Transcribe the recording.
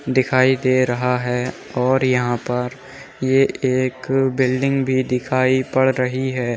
दिखाई दे रहा है और यहाँ पर ये एक बिल्डिंग भी दिखाई पड़ रही है।